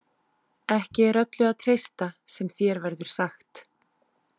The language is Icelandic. Ekki er öllu að treysta sem þér verður sagt.